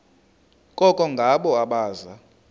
koko ngabo abaza